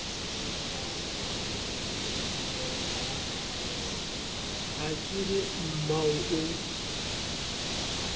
ha ke re mmao o